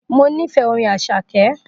Mo nífẹ̀ẹ́ Orin Àṣàkẹ́